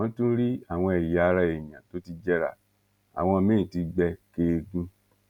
wọn tún rí àwọn ẹyà ara èèyàn tó ti jẹrà àwọn míín ti gbé kẹẹgùn